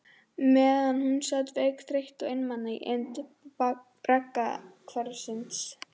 Meðan hún sat veik, þreytt og einmana í eymd braggahverfisins.